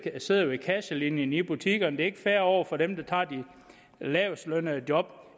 sidder ved kasselinjen i butikkerne det er ikke fair over for dem der tager de lavestlønnede job